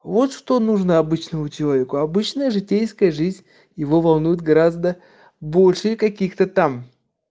вот что нужно обычному человеку обычная житейская жизнь его волнует гораздо больше и каких-то там